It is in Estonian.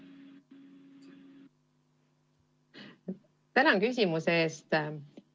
Tänan küsimuse eest!